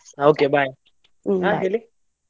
ಹಾ okay bye .